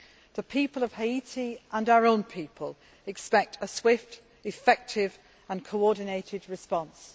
The people of Haiti and our own people expect a swift, effective and coordinated response.